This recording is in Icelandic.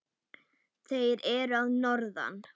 Þeir eru að norðan.